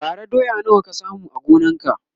bara doya nawa ka samu a gonan ka?